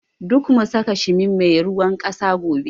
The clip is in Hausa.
Duk mu saka shimi mai ruwan ƙasa gobe